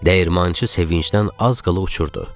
Dəyirmançı sevinclə az qala uçurdu.